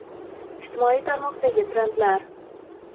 Ijtimoiy tarmoqdagi trendlar.